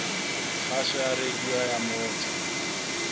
kgaso ya radio ya motse